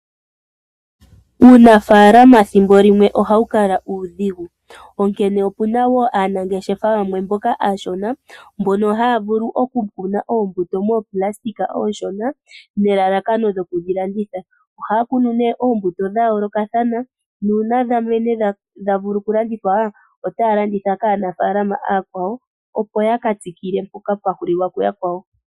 Uunafaalama thimbo limwe ohawu kala uudhigu onkene opuna woo aanangeshefa yamwe mboka aashona mbono haya vulu oku kuna oombuto mooplastika ooshona nelalakano lyoku dhi landitha, ohaya kunu unene eembuto dha yoolokathana nuuna dha mene tadhi vulu oku landithwa otaya landitha kaanafaalama aakwawo opo yaka tameke mpoka pwa hulila yakwawo.